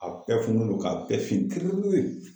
A bɛɛ fununen don ka bɛɛ fin kirikiri.